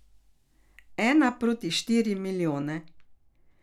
Ena proti štiri milijone.